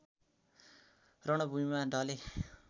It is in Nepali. रणभूमिमा ढले